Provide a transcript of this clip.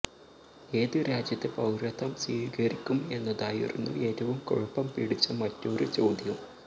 ഏത് രാജ്യത്തെ പൌരത്വം സ്വീകരിക്കും എന്നതായിരുന്നു ഏറ്റവും കുഴപ്പം പിടിച്ച മറ്റൊരു ചോദ്യം